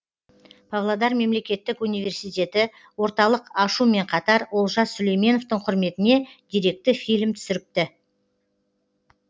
павлодар мемлекеттік университеті орталық ашумен қатар олжас сүлейменовтің құрметіне деректі фильм түсіріпті